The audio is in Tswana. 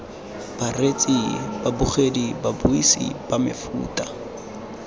bareetsi babogedi babuisi ba mefuta